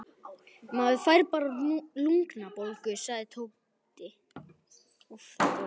Maður fær bara lungnabólgu, sagði Tóti.